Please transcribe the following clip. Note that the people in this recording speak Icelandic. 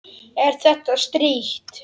Er þér strítt?